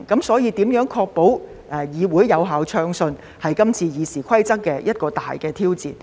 所以，如何確保議會可以運作暢順，便是今次《議事規則》修訂的一個大挑戰。